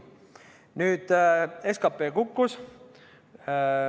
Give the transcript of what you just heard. Nüüd SKP kukkus.